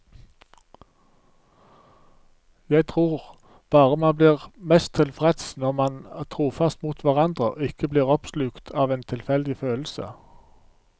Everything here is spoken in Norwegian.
Jeg tror bare man blir mest tilfreds når man er trofaste mot hverandre, ikke blir oppslukt av en tilfeldig følelse.